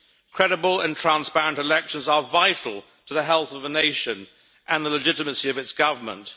Credible and transparent elections are vital to the health of the nation and the legitimacy of its government.